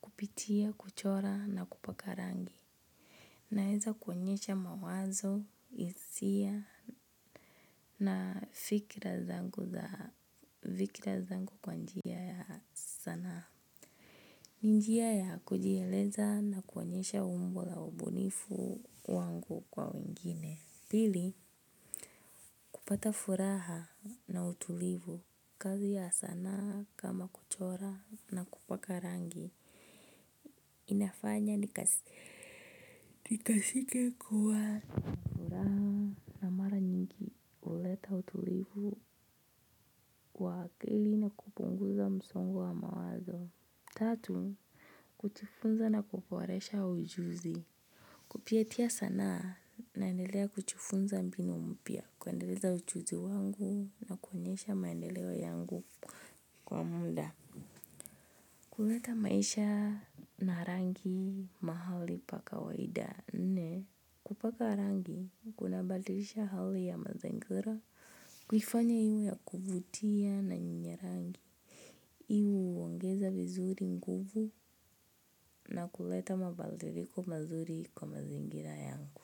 kupitia kuchora na kupaka rangi. Naweza kuonyesha mawazo, hisia na fikira zangu kwa njia ya sanaa. Ni njia ya kujieleza na kuonyesha umbo la ubunifu wangu kwa wengine. Pili, kupata furaha na utulivu, kazi ya sanaa kama kuchora na kupaka rangi inafanya nikasikie kuwa na furaha na mara nyingi huleta utulivu wa akili na kupunguza msongo wa mawazo. Tatu, kujifunza na kuboresha ujuzi kupitia sanaa naendelea kujifunza mbinu mpya, kuendeleza ujuzi wangu na kuonyesha maendeleo yangu kwa muda. Huleta maisha na rangi mahali pa kawaida. Nne kupaka rangi kunabadilisha hali ya mazingira. Kuifanya iwe ya kuvutia na yenye rangi. Hii huongeza vizuri nguvu na kuleta mabadiliko mazuri kwa mazingira yangu.